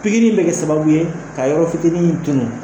Pikiri in bɛ kɛ sababu ye ka yɔrɔ fitinin in tunun